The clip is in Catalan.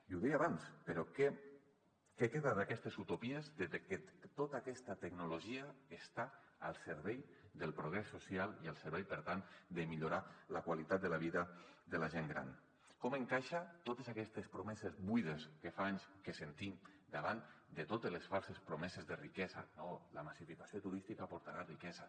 i ho deia abans però què queda d’aquestes utopies de tota aquesta tecnologia que està al servei del progrés social i al servei per tant de millorar la qualitat de la vida de la gent gran com encaixen totes aquestes promeses buides que fa anys que sentim davant de totes les falses promeses de riquesa no la massificació turística portarà riquesa